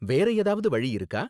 வேற ஏதாவது வழி இருக்கா?